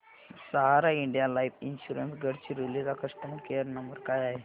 सहारा India life insurance Gadchiroli चा customer care number काय आहे